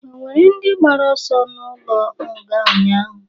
Ọ nwere ndị gbara ọsọ n'ulo nga ụnyaahụ?